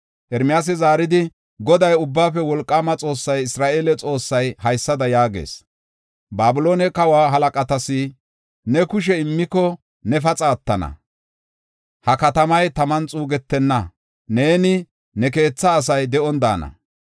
Ermiyaasi zaaridi, “Goday, Ubbaafe Wolqaama Xoossay, Isra7eele Xoossay haysada yaagees: ‘Babiloone kawa halaqatas ne kushe immiko, ne paxa attana; ha katamay taman xuugetenna; nenne ne keetha asay de7on daana.